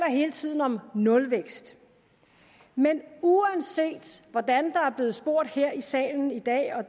hele tiden om nulvækst men uanset hvordan der er blevet spurgt her i salen i dag og